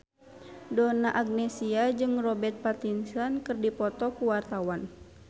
Donna Agnesia jeung Robert Pattinson keur dipoto ku wartawan